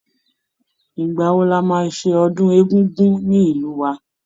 Ìgbà wo la máa ṣe ọdún Egúngún ní ìlú wa?